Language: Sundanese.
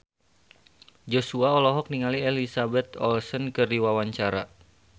Joshua olohok ningali Elizabeth Olsen keur diwawancara